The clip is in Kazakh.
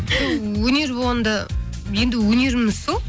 өнер болғанда енді өнеріміз сол